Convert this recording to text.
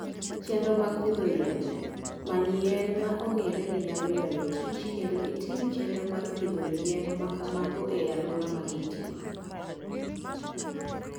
Chenro mag pidho yiende Many yien ma ong'ere ni nyalo ywayo kich kendo itim chenro mar pidho yien ma kamago e alwora ma gintie.